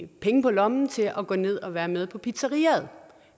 penge på lommen til at gå ned og være med på pizzeriaet